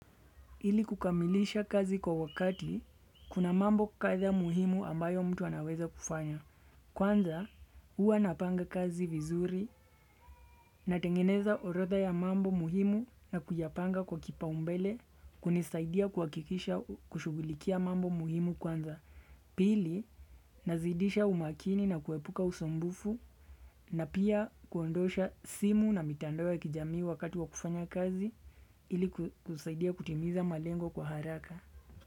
Ili kukamilisha kazi kwa wakati, kuna mambo kadha muhimu ambayo mtu anaweza kufanya. Kwanza, huwa napanga kazi vizuri natengeneza orodha ya mambo muhimu na kuyapanga kwa kipaumbele kunisaidia kuhakikisha kushughulikia mambo muhimu kwanza. Pili, nazidisha umakini na kuepuka usumbufu na pia kuondosha simu na mitandao ya kijamii wakati wa kufanya kazi ili kusaidia kutimiza malengo kwa haraka.